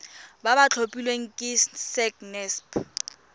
ba ba tlhophilweng ke sacnasp